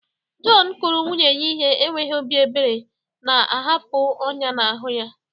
John kụrụ nwunye ya ihe n'enweghị obi ebere, na-ahapụ ọnyá n'ahụ ya.